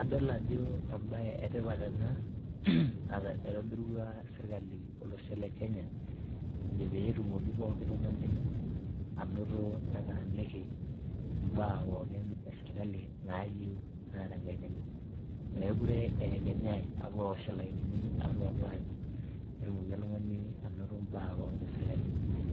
adol ajo embaye etipat ena naitobirua sirkali olosho le kenya ejo peetumoki poki tung'ani anoto netaaniki imbaa pookin esirkali nayieu naa tenkaina enye meekure eyekenyai apuo awosh ilainini apuo, apuo anyu petumoki oltung'ani anoto imbaa pookin esirkali